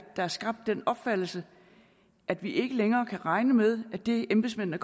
er skabt den opfattelse at vi ikke længere kan regne med at det embedsmændene